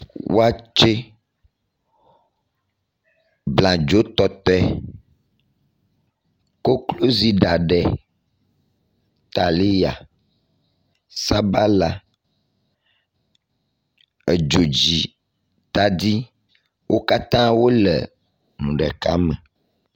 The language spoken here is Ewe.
wɔtsɛ abladzo tɔtoe koklozi ɖaɖɛ taliya sabala edzodzi tadi wókatã wóle eŋu ɖeka me